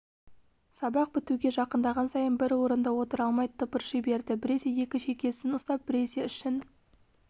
сабақ бітуге жақындаған сайын бір орында отыра алмай тыпырши берді біресе екі шекесін ұстап біресе ішін